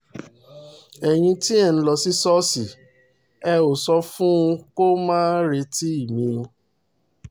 ẹ̀yin tí ẹ̀ ẹ̀ ń lọ sí ṣọ́ọ̀ṣì ẹ̀ ẹ́ sọ fún un kó máa retí mi